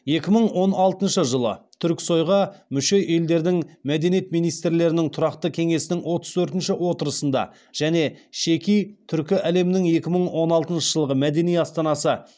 екі мың он алтыншы жылы түріксой ға мүше елдердің мәдениет министрлерінің тұрақты кеңесінің отыз төртінші отырысында және шеки түркі әлемінің екі мың он алтыншы жылғы мәдени астанасы